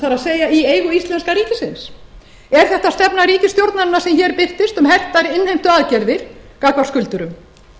það er í eigu íslenska ríkisins er þetta stefna ríkisstjórnarinnar sem hér birtist um hertar innheimtuaðgerðir gagnvart skuldurum